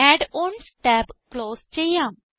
add ons tab close ചെയ്യാം